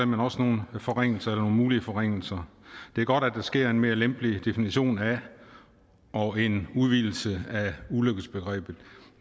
men også nogle forringelser eller nogle mulige forringelser det er godt at der sker en mere lempelig definition af og en udvidelse af ulykkesbegrebet